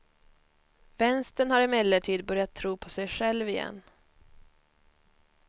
Vänstern har emellertid börjat tro på sig själv igen.